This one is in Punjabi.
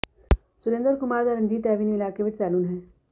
ਸੁਰਿੰਦਰ ਕੁਮਾਰ ਦਾ ਰਣਜੀਤ ਐਵੀਨਿਊ ਇਲਾਕੇ ਵਿਚ ਸੈਲੂਨ ਹੈ